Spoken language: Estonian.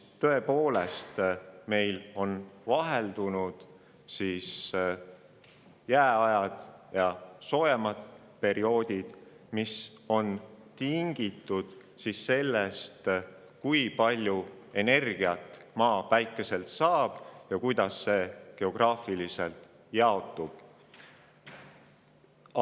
Tõepoolest, meil on vaheldunud jääajad ja soojemad perioodid, mis on tingitud sellest, kui palju energiat Maa Päikeselt saab ja kuidas see geograafiliselt jaotub.